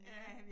Ja